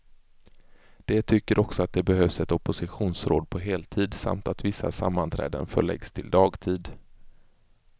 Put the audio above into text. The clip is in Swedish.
De tycker också att det behövs ett oppositionsråd på heltid, samt att vissa sammanträden förläggs till dagtid.